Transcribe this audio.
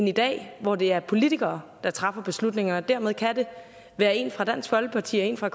i dag hvor det er politikere der træffer beslutningerne derved kan det være en fra dansk folkeparti og en fra